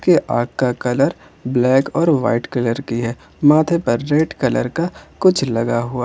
ये आंख का कलर ब्लैक और वाइट कलर की है माथे पर रेड कलर का कुछ लगा हुआ।